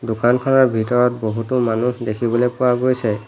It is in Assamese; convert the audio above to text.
দোকানখনৰ ভিতৰত বহুতো মানুহ দেখিবলৈ পোৱা গৈছে।